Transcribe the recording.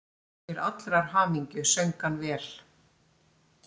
Til allrar hamingju söng hann vel!